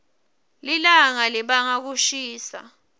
lilawga libanga kushisa